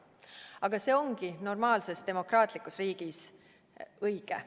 Aga see ongi normaalses demokraatlikus riigis õige.